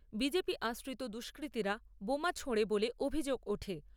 BJP আশ্রিত দুষ্কৃতীরা বোমা ছোঁড়ে বলে অভিযোগ ওঠে।